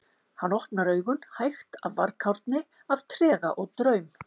Hann opnar augun, hægt, af varkárni, af trega og draum